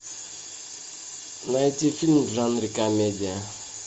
найти фильм в жанре комедия